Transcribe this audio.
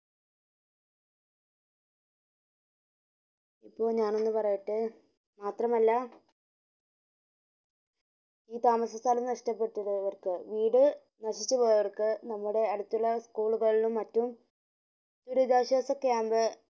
ഇപ്പോ ഞാൻ ഒന്ന് പറയട്ടെ മാത്രമല്ല ഈ താമസ സ്ഥലം നഷ്ടപെട്ട യവർക് വീട് നശിച്ച പോയവർക് നമ്മുടെ അടുത്തുള്ള school കളും മറ്റും ദുരിതാശാസ camp